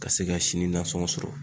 Ka se ka sini nansɔngɔ sɔrɔ.